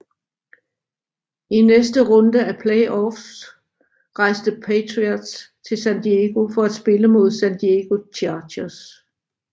I næste runde af playoffs rejste Patriots til San Diego for at spille mod San Diego Chargers